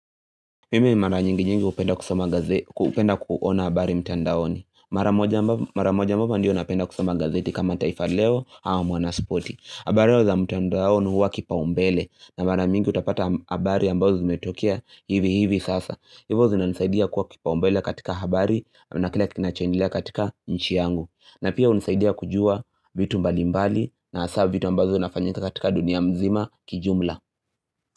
Mimi mara nyingi nyingi hupenda kusoma gazeti, hupenda kuona habari mtandaoni. Mara moja haba ndiyo napenda kusama gazeti kama taifaleo hawa mwanasipoti. Habariyo za mtandaoni huwa kipa umbele na mara mingi utapata habari ambazo zimetokia hivi hivi sasa. Hivo zinanisaidia kuwa kipa umbele katika habari na kile kinachoendelea katika nchi yangu. Na pia hunisaidia kujua vitu mbali mbali na hasa vitu ambazo inafanyika katika dunia mzima kijumla.